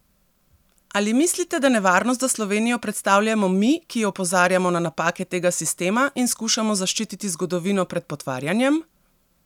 Ali mislite, da nevarnost za Slovenijo predstavljamo mi, ki opozarjamo na napake tega sistema in skušamo zaščititi zgodovino pred potvarjanjem?